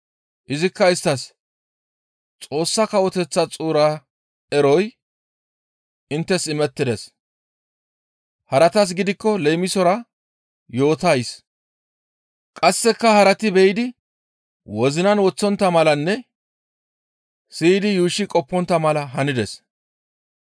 izikka isttas, «Xoossa Kawoteththaa xuura eroy inttes imettides; haratas gidikko leemisora yootays qasseka harati be7idi wozinan woththontta malanne siyidi yuushshi qoppontta mala hanides.